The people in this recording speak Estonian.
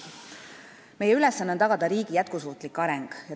Meie ülesanne on tagada riigi jätkusuutlik areng.